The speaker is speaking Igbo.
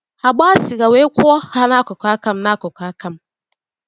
Ha gbaa sịga wee kwụọ ha n’akụkụ aka m. n’akụkụ aka m.